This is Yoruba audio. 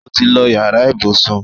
ọ tí ló yàrá ibùsùn.